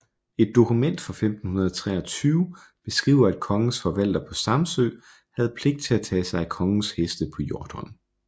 Et dokument fra 1523 beskriver at kongens forvalter på Samsø havde pligt at tage sig af kongens heste på Hjortholm